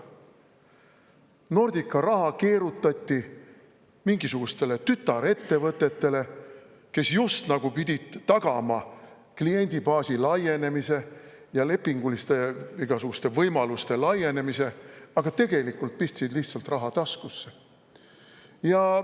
Nordica raha keerutati mingisugustele tütarettevõtetele, kes just nagu pidid tagama kliendibaasi laienemise ja igasuguste lepinguliste võimaluste laienemise, aga tegelikult pistsid lihtsalt raha taskusse.